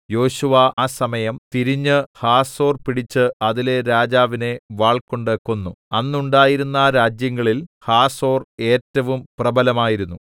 യോശുവ ആ സമയം തിരിഞ്ഞ് ഹാസോർ പിടിച്ച് അതിലെ രാജാവിനെ വാൾകൊണ്ട് കൊന്നു അന്നുണ്ടായിരുന്ന രാജ്യങ്ങളിൽ ഹാസോർ ഏറ്റവും പ്രബലമായിരുന്നു